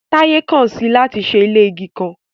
Taye kan si i lati ṣe ile igi kan